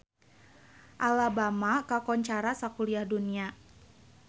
Alabama kakoncara sakuliah dunya